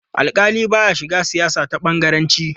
Alƙali ba ya shiga siyasa ta bangaranci.